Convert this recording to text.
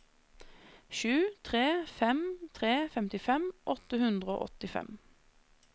sju tre fem tre femtifem åtte hundre og åttifem